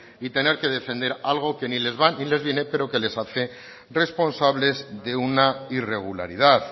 y tener que defender algo que ni les va ni les viene pero que les hace responsables de una irregularidad